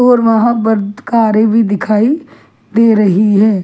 और वहां पर कारें भी दिखाई दे रही है।